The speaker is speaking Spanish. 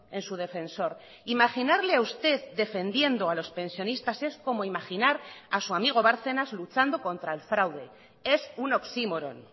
en su defensor imaginarle a usted defendiendo a los pensionistas es como imaginar a su amigo bárcenas luchando contra el fraude es un oxímoron